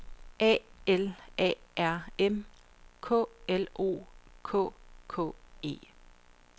A L A R M K L O K K E